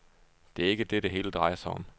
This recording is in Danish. Det er ikke det, det hele drejer sig om.